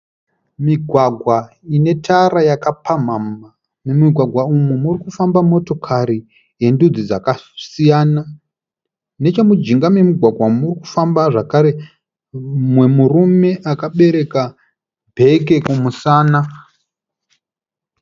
Migwagwa ine tara yakapamhamha. Mumugwagwa uyu muri kufamba motokari dzendudzi dzakasiyana. Nechemujinga memugwagwa umu muri kufamba zvakare umwe murume akabereka bheke kumusana.